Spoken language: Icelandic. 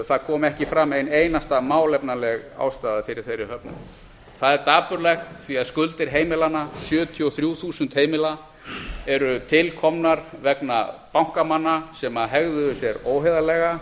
það kom ekki fram ein einasta málefnaleg ástæða fyrir þeirri höfnun það er dapurlegt því að skuldir heimilanna sjötíu og þrjú þúsund heimila eru tilkomnar vegna bankamanna sem hegðuðu sér óheiðarlega